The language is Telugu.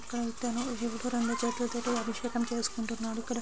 విల్లు ఇద్దరు రెండు రెండు చేతులతో అభిషేకం చేసుకుంటున్నారు.